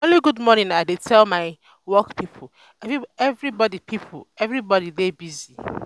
um na only good morning i dey tell my work pipo um everbodi pipo um everbodi dey busy.